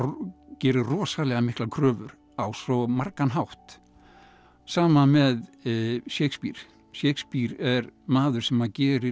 gerir rosalega miklar kröfur á svo margan hátt sama með Shakespeare Shakespeare er maður sem gerir